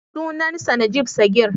Sunansa Najib Sagir.